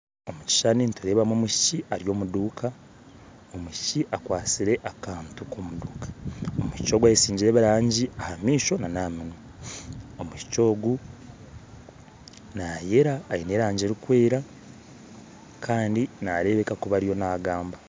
Omu kishushani nindeebamu omwishiki ari omuduuka omwishiki akwasire akantu, omwishiki ogu ayesigire ebirangi ahamaisho nana aha minwa omwishiki ogu nayeera ayine erangi erikwera kandi nareebeka kuba ariyo naagamba